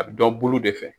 A bɛ dɔn bulu de fɛ